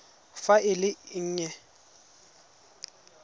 fa e le e nnye